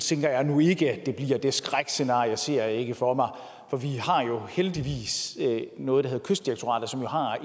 tænker jeg nu ikke at det bliver det skrækscenarie ser jeg ikke for mig for vi har jo heldigvis noget der hedder kystdirektoratet som har